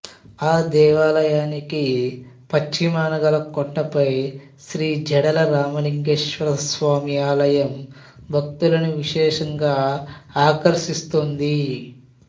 ఆ దేవాలయానికి పశ్చిమాన గల కొండపై శ్రీ జడల రామలింగేశ్వర స్వామి ఆలయం భక్తులను విశేషంగా ఆకర్షిస్తోంది